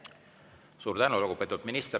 Suur tänu, lugupeetud minister!